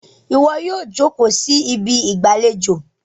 iwọ yíò joko sí Ibi ìgbàlejò!